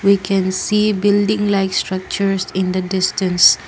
we can see building like structures in the distance.